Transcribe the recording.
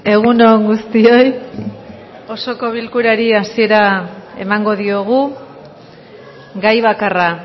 egun on guztioi osoko bilkurari hasiera emango diogu gai bakarra